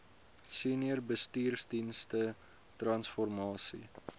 senior bestuursdienste transformasie